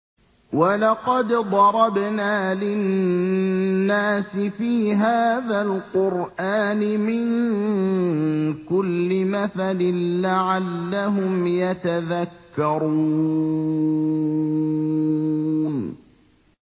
وَلَقَدْ ضَرَبْنَا لِلنَّاسِ فِي هَٰذَا الْقُرْآنِ مِن كُلِّ مَثَلٍ لَّعَلَّهُمْ يَتَذَكَّرُونَ